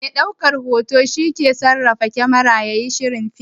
Mai ɗaukan hoto shi ke sarrafa kamara yayin shirin fim.